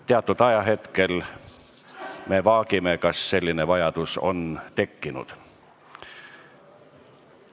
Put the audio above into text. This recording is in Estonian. Teatud ajahetkel me vaagime, kas selline vajadus on tekkinud.